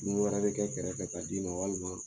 Dumuni wɛrɛ bɛ kɛ kɛrɛ fɛ ka di ma walima